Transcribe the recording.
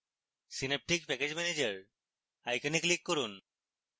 synaptic package manager icon click করুন